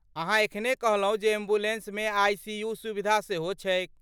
अहाँ एखने कहलहुँ जे एम्बुलेन्समे आई.सी.यू. के सुविधा सेहो छैक।